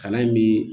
Kalan in bi